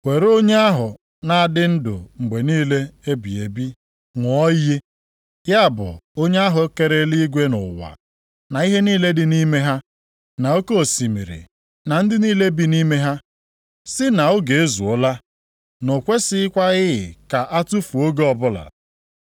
were onye ahụ na-adị ndụ mgbe niile ebighị ebi ṅụọ iyi. Ya bụ onye ahụ kere eluigwe na ụwa, na ihe niile dị nʼime ha, na oke osimiri, na ndị niile bi nʼime ha, sị na oge ezuola. Na o kwesikwaghị ka a tufuo oge ọbụla.